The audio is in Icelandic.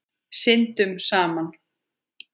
Syndum saman.